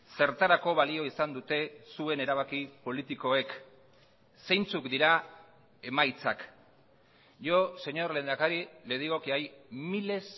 zertarako balio izan dute zuen erabaki politikoek zeintzuk dira emaitzak yo señor lehendakari le digo que hay miles